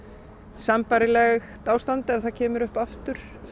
sambærilegt ástand ef það kemur upp aftur